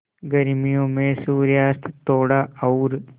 गर्मियों में सूर्यास्त थोड़ा और